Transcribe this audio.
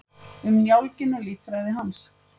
Um njálginn og líffræði hans.